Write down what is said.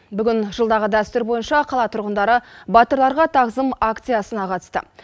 бүгін жылдағы дәстүр бойынша қала тұрғындары батырларға тағзым акциясына қатысты